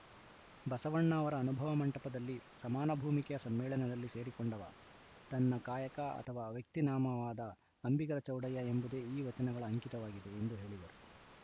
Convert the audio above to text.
ಬಸವಣ್ಣ ಅವರ ಅನುಭವ ಮಂಟಪದಲ್ಲಿ ಸಮಾನಭೂಮಿಕೆಯ ಸಮ್ಮೇಳನದಲ್ಲಿ ಸೇರಿಕೊಂಡವ ತನ್ನ ಕಾಯಕ ಅಥವಾ ವ್ಯಕ್ತಿನಾಮವಾದ ಅಂಬಿಗರ ಚೌಡಯ್ಯ ಎಂಬುದೇ ಈ ವಚನಗಳ ಅಂಕಿತವಾಗಿದೆ ಎಂದು ಹೇಳಿದರು